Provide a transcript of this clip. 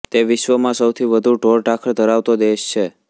તે વિશ્વમાં સૌથી વધુ ઢોરઢાંખર ધરાવતો દેશ છે